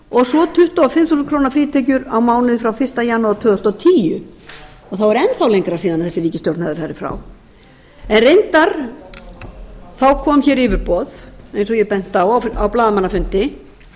og fimm þúsund krónur frítekjur á mánuði frá fyrsta janúar tvö þúsund og tíu og þá er enn þá lengra síðan þessi ríkisstjórn hefur farið frá reyndar kom hér yfirboð eins og ég benti á á blaðamannafundi